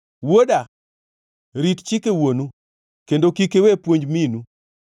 Wuoda, rit chike wuonu kendo kik iwe puonj minu.